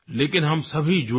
लेकिन हम सभी जुड़ें